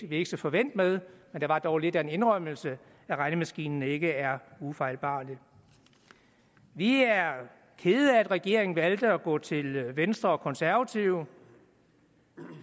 vi ikke så forvænt med men det var dog lidt af en indrømmelse at regnemaskinen ikke er ufejlbarlig vi er kede af at regeringen valgte at gå til venstre og konservative